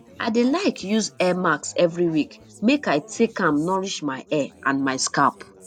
i dey like use hair mask every week make i take am nourish my hair and my scalp